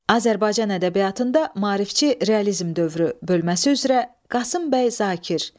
Azərbaycan ədəbiyyatında maarifçi realizm dövrü bölməsi üzrə Qasım bəy Zakir.